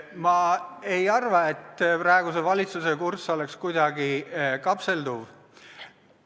Ma ei arva, et praeguse valitsuse kurss oleks kuidagi kapseldav.